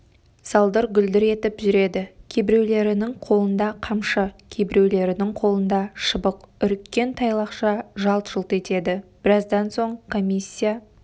салдыр-гүлдір етіп жүреді кейбіреулерінің қолында қамшы кейбіреулерінің қолында шыбық үріккен тайлақша жалт-жұлт етеді біраздан соң комиссия